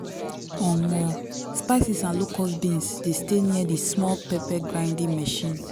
omo spices and locust beans dey stay near the small pepper grinding machine.